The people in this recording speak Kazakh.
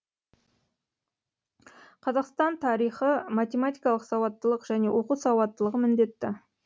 қазақстан тарихы математикалық сауаттылық және оқу сауаттылығы міндетті